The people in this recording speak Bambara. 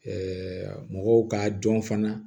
mɔgɔw k'a dɔn fana